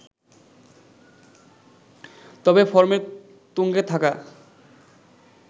তবে ফর্মের তুঙ্গে থাকা